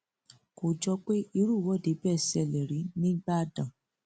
kò jọ pé irú ìwọde bẹẹ ṣẹlẹ rí nígbàdàn